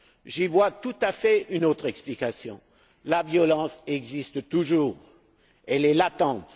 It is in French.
J'y vois une tout autre explication la violence existe toujours, elle est latente.